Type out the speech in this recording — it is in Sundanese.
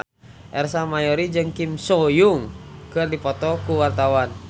Ersa Mayori jeung Kim So Hyun keur dipoto ku wartawan